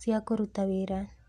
cia kũruta wĩra.